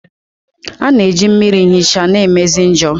A na-eji mmiri nhicha na-emezi njor.